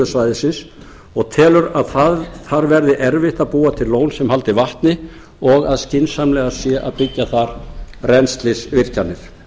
svæðisins og telur að þar verði erfitt að búa til lón sem haldi vatni og skynsamlegast sé að byggja þar rennslisvirkjanir